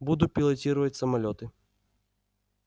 буду пилотировать самолёты